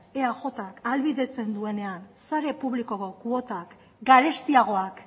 eajk ahalbidetzen duenean sare publikoko kuotak garestiagoak